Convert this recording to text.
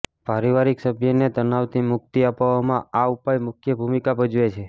પારિવારિક સભ્યને તનાવથી મુક્તિ અપાવવામાં આ ઉપાય મુખ્ય ભૂમિકા ભજવે છે